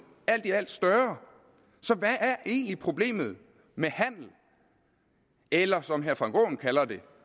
alt i alt større så hvad er egentlig problemet med handel eller som herre frank aaen kalder det